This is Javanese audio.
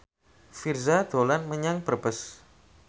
Virzha dolan menyang Brebes